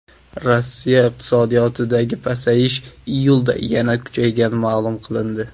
Rossiya iqtisodiyotidagi pasayish iyulda yanada kuchaygani ma’lum qilindi.